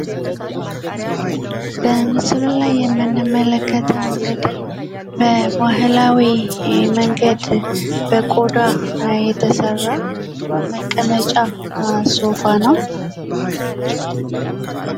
በምስሉ ላይ የምንመለከተው እንግዲህ በባህላዊ መንገድ በቆዳ የተሰራ መቀመጫ ሶፋ ነው ።